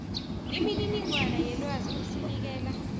imininingwana yelwazi osinikela